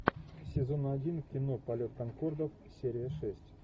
сезон один кино полет конкордов серия шесть